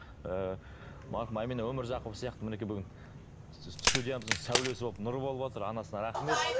ыыы марқұм әмина өмірзақова сияқты мінекей бүгін студиямыздың сәулесі болып нұры болып отыр анасына рахмет